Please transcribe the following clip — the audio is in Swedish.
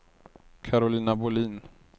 Karolina Bohlin